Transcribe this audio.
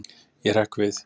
Ég hrekk við.